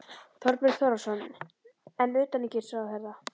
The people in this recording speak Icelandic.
Þorbjörn Þórðarson: En utanríkisráðherra?